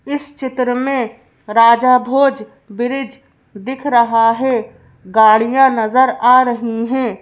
इस चित्र में राजा भोजब्रिज दिख रहा है गाड़ियां नजर आ रही हैं।